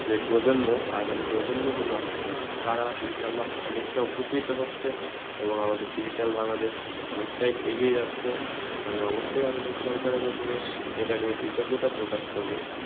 এ প্রজন্ম আগামী প্রজন্মগুলো আছে তারা ইনশাল্লাহ অনেকটা উপকৃত হচ্ছে এবং আমাদের digital বাংলাদেশ অনেকটাই এগিয়ে যাচ্ছে। আমি অবশ্যই আধুনিক সরকারের ওপরে এটা নিয়ে কৃতজ্ঞতা প্রকাশ করবো,